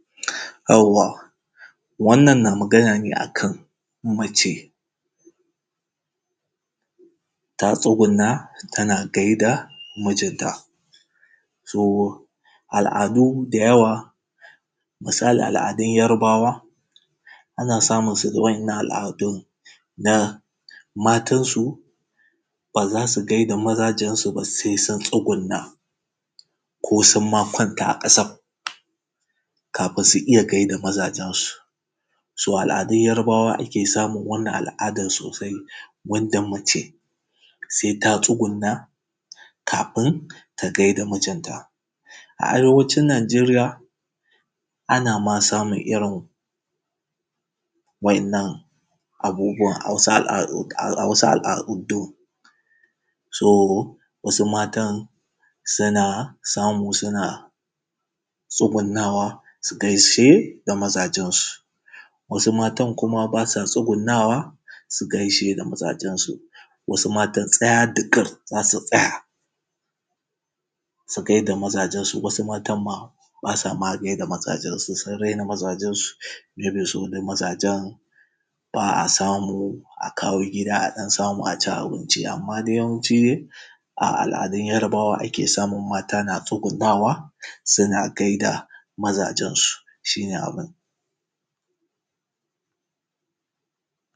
Yauwa wannan na magana ne akan mace ta tsuguna tana gaida mijinta. To al’adu da yawa misalin al’adun yarbawa ana samunsu da wa’innan al’adun na matansu ba za su gaida mazajensu ba sai sun tsuguna ko sunma kwanta a kasa, kafin su iya gaida mazajensu, so al’adun yarbawa ake iya samun wannan al’adan sosai wanda mace sai ta tsuguna kafin ta gaida mijinta. A arewacin nijeriya ana ma samun irin wa’innan abubuwan a wasu al’ a wasu al’adu so wasu matan suna samu suna tsugunawa su gaishe da mazajensu, wasu matan kuma basu tsugunawa su gaishe da mazajensu wasu matan tsaya da kar zasu tsaya su gaida mazajensu wasu matan basa ma gaida mazajensu su raina mazajensu irin su dai mazajen ba a samu a kawo gida adan samu a ci abinci amma dai yawanci a al’adun yarbawa ake samun mata na tsugunawa suna gaida mazajen su. Shi ne abun